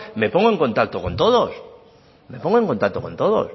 me pongo en contacto con todos me pongo en contacto con todos